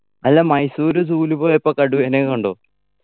അല്ല മൈസൂര് zoo ല് പോയപ്പോ കടുവനെ കണ്ടോ